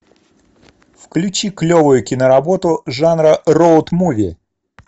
включи клевую киноработу жанра роуд муви